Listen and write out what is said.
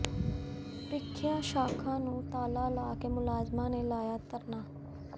ਪ੍ਰੀਖਿਆ ਸ਼ਾਖਾ ਨੂੰ ਤਾਲਾ ਲਾ ਕੇ ਮੁਲਾਜ਼ਮਾਂ ਨੇ ਲਾਇਆ ਧਰਨਾ